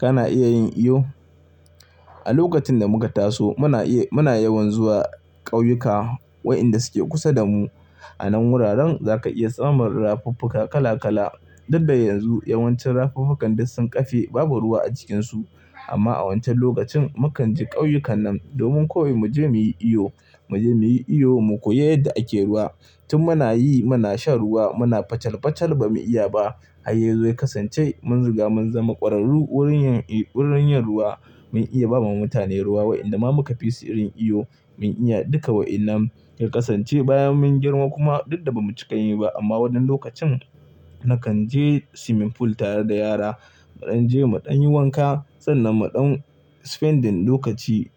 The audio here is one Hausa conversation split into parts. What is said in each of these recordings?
Kana iya yin iyo? A lokacin da muka taso muna iya, muna yawan zuwa ƙauyuka waɗanda suke kusa da mu. A nan wuraren za ka iya samun rafuffuka kala kala. Diddaa yanzu yawancin rafuffukan duk sun kafe babu ruwa a cikinsu. Amma a wancan lokacin mukaan je ƙauyukan nan domin koyi mu je muyi iyo, mu je muyi iyo mu koyi yadda ake ruwa. Tun muna yi muna shan ruwa muna facal facal ba mu iya ba. Har ya zo ya kasance mun riga mun zama kwararru wurin yin, wurin yin ruwa. Mun iya ba ma mutane ruwa wa inda ma muka fi si irin iyo mun iya duka wa'inan. Ya kasance bayan mun girma kuma dudda ba mu cika yin ba. Amma wannan lokacin nakan je swimming pool tare da yara. Muɗan je muɗan yi wanka sannan muɗan spending lokaci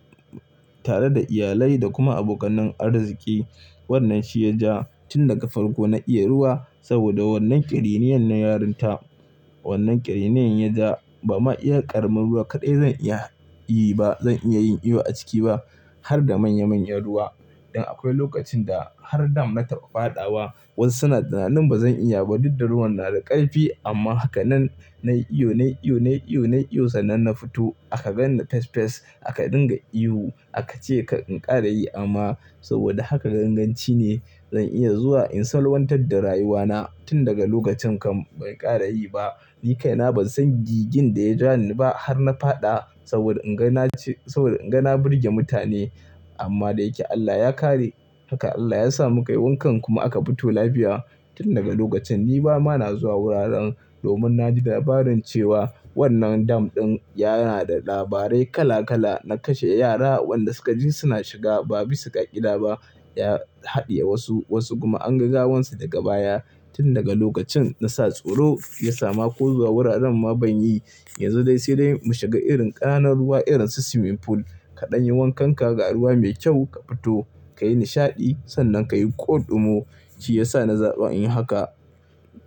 tare da iyalai da kuma abokan arziƙi. Wannanshi ya ja tun daga farko na iya ruwa saboda wannan kiriniyar na yarinta. Wannan kiriniyar ya ja ba ma iya ƙaramin ruwa kaɗai zan iya yi ba. Zan iya yin iyo a ciki ba har da manya manyan ruwa. Dan akwai lokacin da har dam na taɓa fadawa wasu suna tunanin bazan iya ba. Duddaa ruwan na da ƙarfi amma hakanan nayi iyo nayi iyo nayi iyo nayi iyo sannan na fito. Aka ganni fes fes aka dinga ihu aka ce in ƙar in kara yi amma saboda haka ganganci ne. Zan iya zuwa in salwantar da rayuwana. Tun daga lokacin kan ban ƙara yi ba. Ni kaina ban san gigin da ya ja ni ba har na faɗa saboda ingana ce, saboda inga na burge mutane. Amma dai yake Allah ya kare haka Allah ya sa muka yi wankan kuma aka fito lafiya. Tun daga lokacin ni ba ma na zuwa wuraren domin na ji labarin cewa wannan dam ɗin yana da labarai kala kala na kashe yara wanda suka ji suna shiga ba bi sa ƙa'ida ba ya haɗiye wasu. Wasu kuma an ga gawansu daga baya. Tun daga lokacin na sa tsoro ya sama ko zuwa wuraren ma ban yi. Yanzu dai sai dai mu shiga irin ƙananun ruwa irin su swimming pool. Kaɗan yi wankan ka ga ruwa mai kyau ka fito ka yi nishaɗi. Sannan ka yi kodumo. Shi ya sa na zaɓa inyi haka.